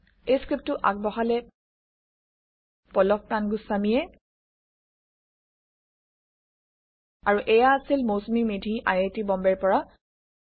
এই স্ক্ৰীপ্তটো আগবঢ়ালে পল্লভ প্ৰান গোস্ৱামীয়ে আৰু এয়া আছিল Mousumi Medhi I I T বম্বেৰ পৰা